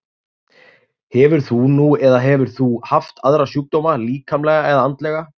Hefur þú nú eða hefur þú haft aðra sjúkdóma, líkamlega eða andlega?